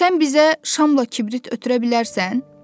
Sən bizə şamla kibrit ötürə bilərsən?